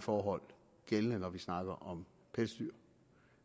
forhold gældende når vi snakker om pelsdyr